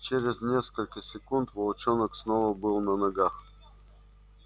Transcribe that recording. через несколько секунд волчонок снова был на ногах